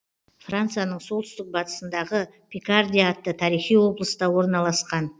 францияның солтүстік батысындағы пикардия атты тарихи облыста орналасқан